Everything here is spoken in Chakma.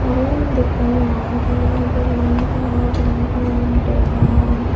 aro undi ekkan agge belding gor belding gorano dogan.